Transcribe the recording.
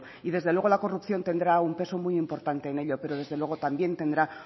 y desde luego la corrupción tendrá un peso muy importante en ello pero desde luego también tendrá